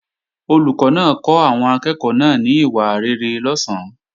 Olùkọ́ náà kọ́ àwọn akẹ́ẹ̀kọ́ náà ní ìwà rere lọ̀sán